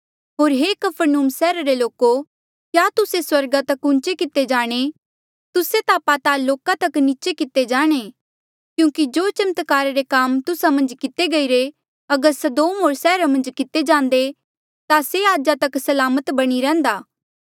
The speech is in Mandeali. होर हे कफरनहूम सैहर रे लोको क्या तुस्से स्वर्गा तक ऊँचा किते जाणे तुस्से ता पताल लोका तक नीचे किते जाणे क्यूंकि जो चमत्कारा रे काम तुस्सा मन्झ किते गईरे अगर सदोम सैहरा मन्झ किते जांदे ता से आजा तक सलामत बणी रैहन्दा